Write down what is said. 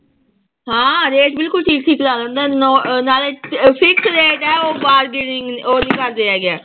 ਹਾਂ rate ਬਿਲਕੁਲ ਠੀਕ ਠੀਕ ਲਾ ਦਿੰਦਾ ਹੈ ਨੋਂ ਨਾਲੇ ਅਹ fix rate ਹੈ ਉਹ bargaining ਉਹ ਨੀ ਕਰਦੇ ਹੈਗੇ।